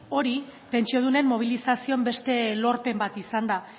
hori pentsiodunen mobilizazioen beste lorpen bat izan da